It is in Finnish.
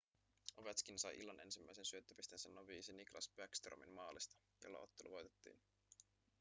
ovetškin sai illan ensimmäisen syöttöpisteensä noviisi nicklas bäckströmin maalista jolla ottelu voitettiin